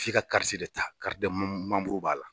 F'i ka b'a la